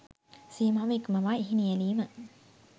සීමාව ඉක්මවා එහි නියැළීම